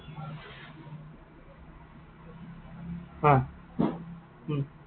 অ, উম